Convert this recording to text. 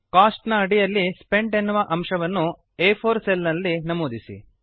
coast ನ ಅಡಿಯಲ್ಲಿ spent ಎನ್ನುವ ಅಂಶವನ್ನು ಆ4 ಸೆಲ್ ನಲ್ಲಿ ನಮೂದಿಸಿ